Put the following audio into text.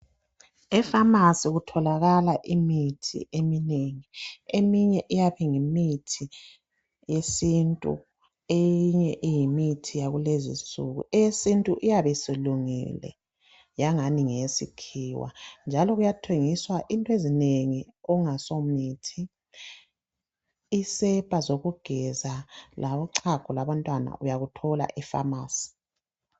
Efamasi kutholakala imithi eminengi eminye iyabe iyimithi yesintu eyinye iyimithi yakulezinsuku . Eyesintu iyabe isilungile yangani ngeyesikhiwa njalo kuyathengiswa into ezinengi okungasomithi, isepa zokugeza labochago lwabantwana uyakuthola efamasi.